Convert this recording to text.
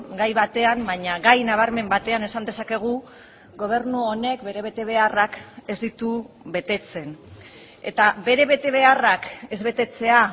gai batean baina gai nabarmen batean esan dezakegu gobernu honek bere betebeharrak ez ditu betetzen eta bere betebeharrak ez betetzea